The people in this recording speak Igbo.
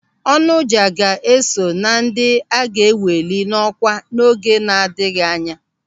Onoja ga-eso na ndị a ga-eweli n'ọkwa n'oge na-adịghị anya.